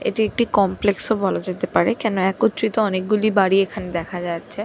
এটি একটি কমপ্লেক্স ও বলা যেতে পারে কেনো একত্রিত অনেক গুলি বাড়ি এখানে দেখা যাচ্ছে--